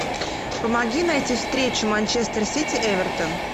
помоги найти встречу манчестер сити эвертон